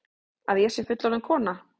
Að ég sé fullorðin kona.